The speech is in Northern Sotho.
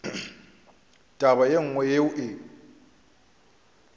taba ye nngwe yeo e